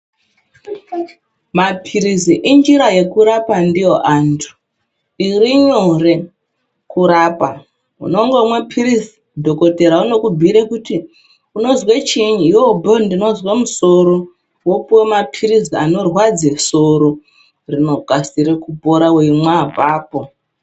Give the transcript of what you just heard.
Mapirizi injira yekurapa ndiyo antu irinyore kurapa unongomwa pirizi dhokodheya unongokubhuyire unozwe chiinyi iwewe wobhuye kuti wototi ndinozwe soro wopiwa mapirizi anorapa soro